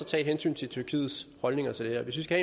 tage hensyn til tyrkiets holdninger til det her hvis vi skal